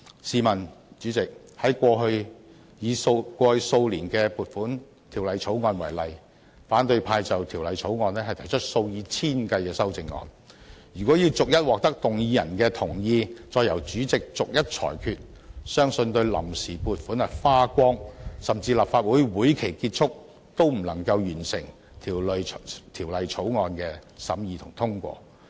主席，以過去數年的《撥款條例草案》為例，反對派就《條例草案》提出數以千計的修正案，如果要逐一獲得動議人的同意，再逐一由主席裁決，相信到臨時撥款花光，甚至立法會會期結束，也不能完成《條例草案》的審議和通過。